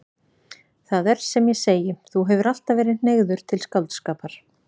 Það er sem ég segi: Þú hefur alltaf verið hneigður til skáldskapar.